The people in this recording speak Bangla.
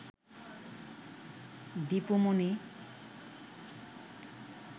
দিপু মনি